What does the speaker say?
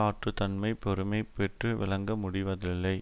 ஆற்றுந்தன்மை பெருமை பெற்று விளங்க முடிவதில்லை